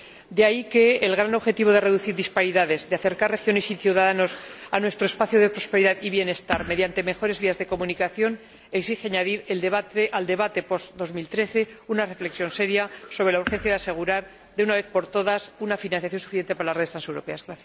De ahí que el gran objetivo de reducir disparidades, de acercar regiones y ciudadanos a nuestro espacio de prosperidad y bienestar mediante mejores vías de comunicación, exija añadir al debate post 2013 una reflexión seria sobre la urgencia de asegurar de una vez por todas una financiación suficiente para las redes transeuropeas.